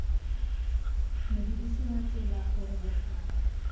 modirisi wa tsela gore bophara